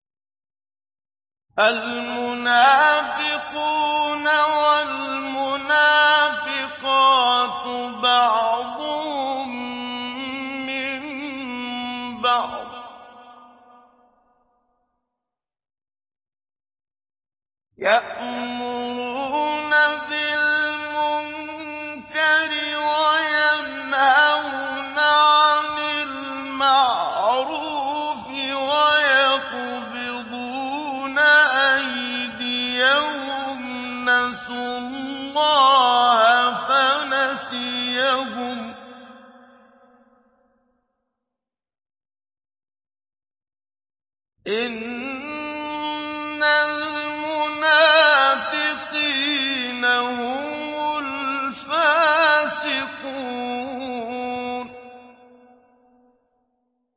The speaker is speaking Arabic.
الْمُنَافِقُونَ وَالْمُنَافِقَاتُ بَعْضُهُم مِّن بَعْضٍ ۚ يَأْمُرُونَ بِالْمُنكَرِ وَيَنْهَوْنَ عَنِ الْمَعْرُوفِ وَيَقْبِضُونَ أَيْدِيَهُمْ ۚ نَسُوا اللَّهَ فَنَسِيَهُمْ ۗ إِنَّ الْمُنَافِقِينَ هُمُ الْفَاسِقُونَ